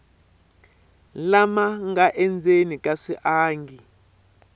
lama nga endzeni ka swiangi